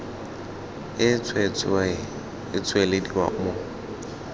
e tswetswe e tswelediwa mo